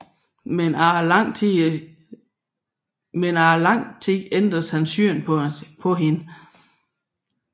Men efter lang tid ændres han syn på hende